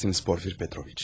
Afədərsiniz Porfiri Petroviç.